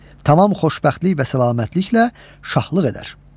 Tamam xoşbəxtlik və səlamətliklə şahlıq edər.